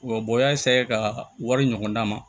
Wa bɔgɔ ka wari ɲɔgɔnna ma